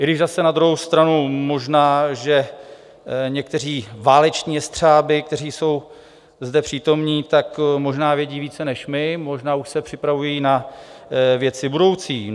I když zase na druhou stranu možná, že někteří váleční jestřábi, kteří jsou zde přítomní, tak možná vědí více než my, možná už se připravují na věci budoucí.